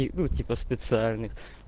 и ну типа специальных